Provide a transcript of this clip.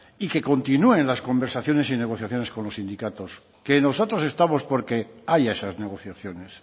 y que continúen las conversaciones y negociaciones con los sindicatos que nosotros estamos por que haya esas negociaciones